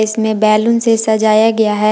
इसमें बैलून से सजाया गया है।